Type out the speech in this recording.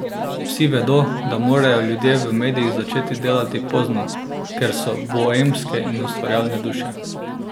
Vsi vedo, da morajo ljudje v medijih začeti delati pozno, ker so boemske in ustvarjalne duše.